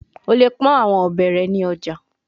O le pọn awọn ọbẹ rẹ ni ọja